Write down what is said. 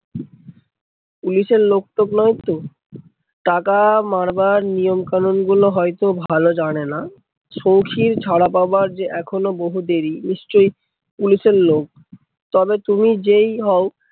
পুলিশের লোক টোক নয়তো? টাকা মারবার নিয়মকানন গুলো হয়তো ভালো জানেনা। সৌখীর ছাড়া পাবার যে এখনো বহু দেরী। নিশ্চই পুলিশের লোক, তবে তুমি যেই হও